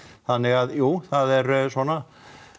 þannig að jú það er svona